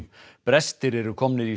brestir eru komnir í